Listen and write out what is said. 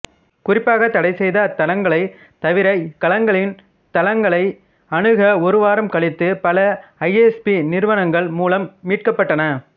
குறிப்பாக தடைசெய்த அத்தளங்களைத் தவிர இக்களங்களின் தளங்களை அணுக ஒரு வாரம் கழித்து பல ஐஎஸ்பி நிறுவனங்கள் மூலம் மீட்கப்பட்டன